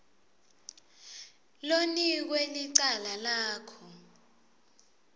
lonikwe licala lakho